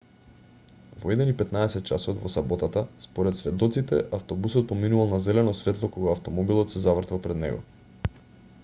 во 01:15 часот во саботата според сведоците автобусот поминувал на зелено светло кога автомобилот се завртел пред него